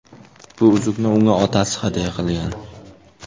Bu uzukni unga otasi hadya qilgan.